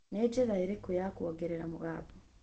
ni njira iriku ya ongerera mugambo